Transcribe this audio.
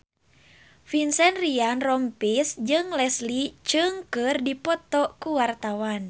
Vincent Ryan Rompies jeung Leslie Cheung keur dipoto ku wartawan